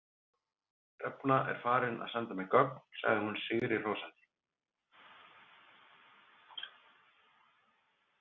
Hrefna er farin að senda mér gögn, sagði hún sigrihrósandi.